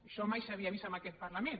això mai s’havia vist en aquest parlament